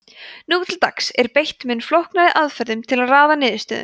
nú til dags er beitt mun flóknari aðferðum til að raða niðurstöðum